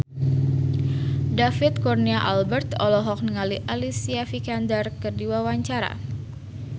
David Kurnia Albert olohok ningali Alicia Vikander keur diwawancara